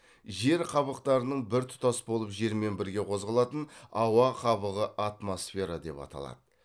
жер қабықтарының біртұтас болып жермен бірге қозғалатын ауа қабығы атмосфера деп аталады